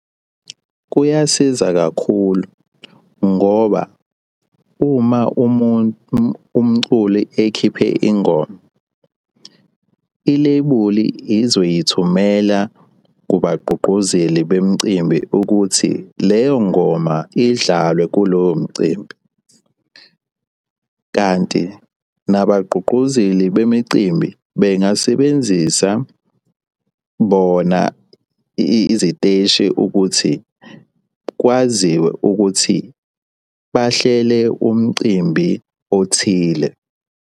Kuyasiza kakhulu ngoba uma umculi ekhiphe ingoma, ilebuli izoyithumela kubagqugquzeli bemicimbi ukuthi leyo ngoma idlalwe kulowo mcimbi, kanti nabagqugquzeli bemicimbi bengasebenzisa bona iziteshi ukuthi kwaziwe ukuthi bahlele umcimbi othile.